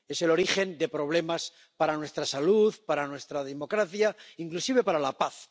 Es el origen de problemas para nuestra salud, para nuestra democracia, inclusive para la paz.